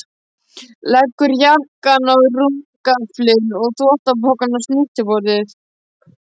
Leggur jakkann á rúmgaflinn og þvottapokann á snyrtiborðið.